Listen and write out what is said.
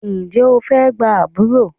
Ǹjẹ́ o fẹ́ gba àbúrò?